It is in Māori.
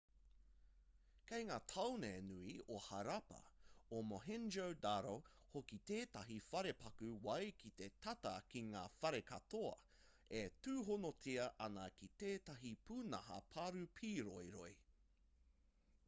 kei ngā tāone nui o harappa o mohenjo-daro hoki tētahi wharepaku wai ki te tata ki ngā whare katoa e tūhonotia ana ki tētahi pūnaha paru pīroiroi